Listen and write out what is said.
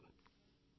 ధన్యవాదాలు